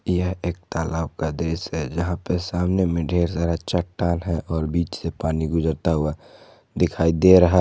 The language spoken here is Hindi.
यह एक तालाब का दृश्य है जहां पे सामने में ढेर सारा चट्टान है और बीच से पानी गुजरता हुआ दिखाई दे रहा--